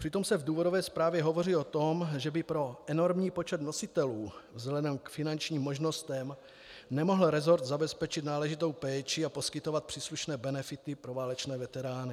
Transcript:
Přitom se v důvodové zprávě hovoří o tom, že by pro enormní počet nositelů vzhledem k finančním možnostem nemohl resort zabezpečit náležitou péči a poskytovat příslušné benefity pro válečné veterány.